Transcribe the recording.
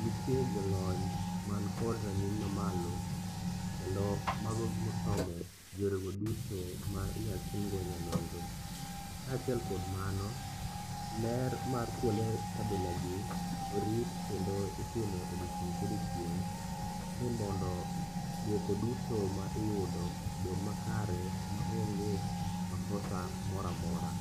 nitie jolony mankod rang'iny mamalo kendo mago mosomo yorego duto ma inyatimgo nyanonro. Kaachiel kod mano, ler mar kuonde kabilagi orit kendo itime odiechieng' kodiechieng' ni mondo duoko duto ma iyudo obed makare maonge makosa moro amora.